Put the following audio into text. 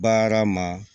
Baara ma